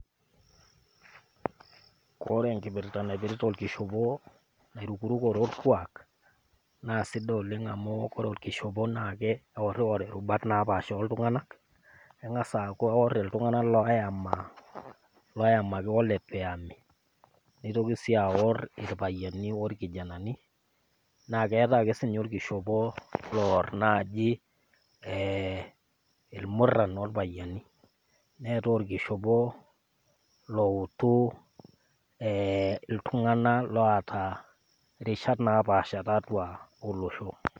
Kore enkipirta naipirta enkishopo nairukurukore olkuak naa sidai oleng amu ore olkishopo naa eworiwor irubat napaasha oltung'ana. Eng'as aaku eor iltung'ana loyamaki oletu eyami, neitoki sii aor ilpayiani olkijananii, naa keatai ake sii naaji olkishopo loor ilmuran olpayiani. Neatai olkishopo loutu iltung'ana rishat naapaasha tiatua olosho.